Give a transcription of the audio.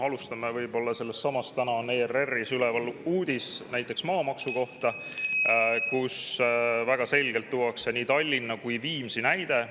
Alustame võib-olla sellestsamast, et täna on ERR-is üleval uudis maamaksu kohta , kus väga selgelt tuuakse nii Tallinna kui ka Viimsi näide.